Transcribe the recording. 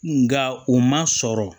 Nga u ma sɔrɔ